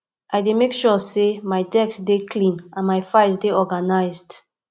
i dey make sure say my desk dey clean and my files dey organized